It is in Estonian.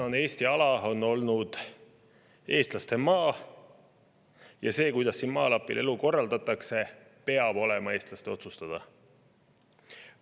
Tänane Eesti ala on olnud eestlaste maa, ja see, kuidas siin maalapil elu korraldatakse, peab olema eestlaste otsustada.